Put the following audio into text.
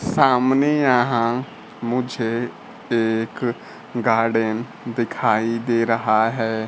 सामने यहां मुझे एक गार्डन दिखाई दे रहा है।